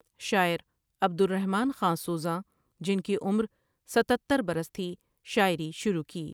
شاعر عبدالرحمٰن خاں سوزاںؔ جن کی عمر ستتر برس تھی شاعری شرو کی۔